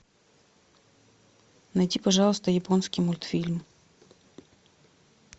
найди пожалуйста японский мультфильм